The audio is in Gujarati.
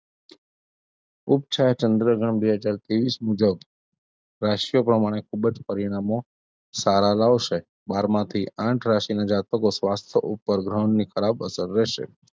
ચંદ્ર્ગણ બે હજાર ત્રેવીસ મુજબ રાશીઓ પ્રમાણે ખુબ જ પરિણામો સારા લાવશે બારમાંથી આઠ રાશીનાં જાતકો સ્વાસ્થ ઉપર ગ્રહણની ખરાબ અસર રહેશે.